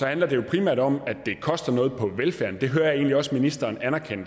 handler det primært om at det koster noget på velfærden det hører jeg egentlig også ministeren anerkende